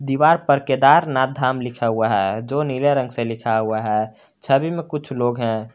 दीवार पर केदारनाथ धाम लिखा हुआ है जो नीले रंग से लिखा हुआ है छवि में कुछ लोग हैं।